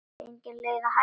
Engin leið að hætta.